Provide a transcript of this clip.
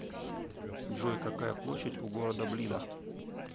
джой какая площадь у города блида